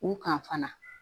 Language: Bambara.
U kan fana